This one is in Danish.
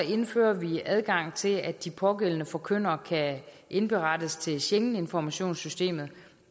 indfører vi adgang til at de pågældende forkyndere kan indberettes til schengeninformationssystemet